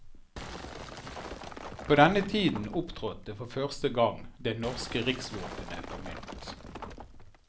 På denne tiden opptrådte for første gang det norske riksvåpenet på mynt.